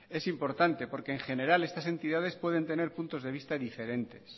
es importante porque en general estas entidades pueden tener puntos de vista diferentes